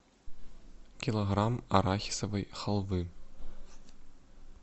килограмм арахисовой халвы